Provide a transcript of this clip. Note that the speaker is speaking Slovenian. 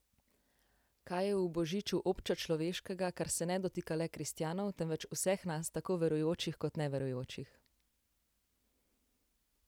Kaj je v božiču občečloveškega, kar se ne dotika le kristjanov, temveč vseh nas, tako verujočih kot neverujočih?